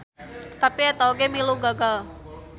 Tapi eta oge milu gagal.